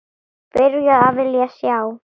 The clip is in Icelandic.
Byrjuð að vilja sjá.